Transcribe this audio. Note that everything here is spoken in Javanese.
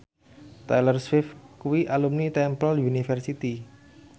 Taylor Swift kuwi alumni Temple University